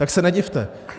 Tak se nedivte.